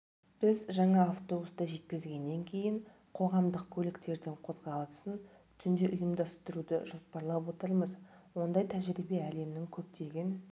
біз жаңа автобусты жеткізгеннен кейін қоғамдық көліктердің қозғалысын түнде ұйымдастыруды жоспарлап отырмыз ондай тәжірибе әлемнің көптеген